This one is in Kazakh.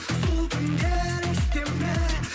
бұл түндер есте ме